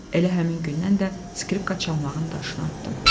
Elə həmin gündən də skripka çalmağın daşını atdım.